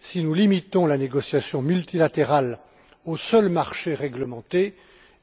Si nous limitons la négociation multilatérale aux seuls marchés réglementés